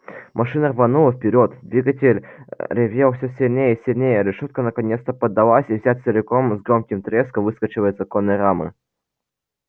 машина рванулась вперёд двигатель ревел всё сильней и сильней решётка наконец поддалась и вся целиком с громким треском выскочила из оконной рамы